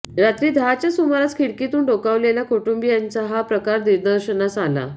रात्री दहाच्या सुमारास खिडकीतून डोकावलेल्या कुटुंबियांच्या हा प्रकार निदर्शनास आला